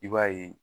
I b'a ye